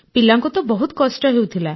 ପିଲାଙ୍କୁ ତ ବହୁତ କଷ୍ଟ ହେଉଥିଲା